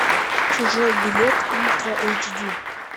чужой билет ультра эйч ди